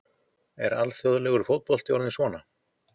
Er alþjóðlegur fótbolti orðinn svona?